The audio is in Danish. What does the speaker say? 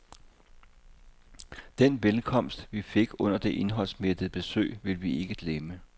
Den velkomst, vi fik under det indholdsmættede besøg, vil vi ikke glemme.